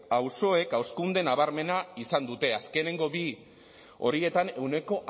auzoek hazkunde nabarmena izan dute azkenengo bi horietan ehuneko